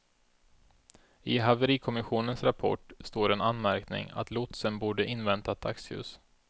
I haverikommissionens rapport står en anmärkning att lotsen borde inväntat dagsljus.